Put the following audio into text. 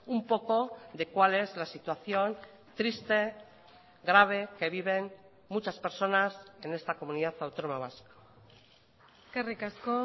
un poco de cuál es la situación triste grave que viven muchas personas en esta comunidad autónoma vasca eskerrik asko